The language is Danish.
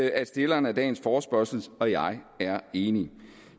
at stillerne af dagens forespørgsel og jeg er enige